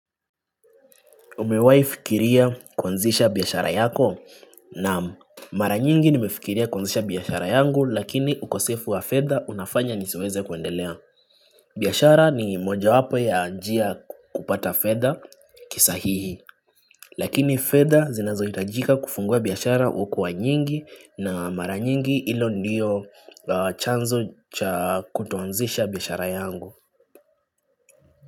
Umewai fikiria kuanzisha biyashara yako naam mara nyingi nimefikiria kuanzisha biyashara yangu lakini ukosefu wa fedha unafanya nisiweze kuendelea. Biyashara ni moja wapo ya njia kupata fedha kisahihi lakini fedha zinazo hitajika kufungua biyashara ukuwa nyingi na mara nyingi ilo ndiyo chanzo cha kutoanzisha biyashara yangu.